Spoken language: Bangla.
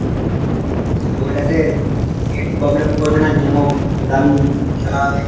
ওটাতে net problem ও করবে না game ও দারুন খেলা হবে।